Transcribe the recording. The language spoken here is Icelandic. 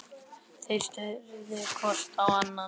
Þeir störðu hvor á annan.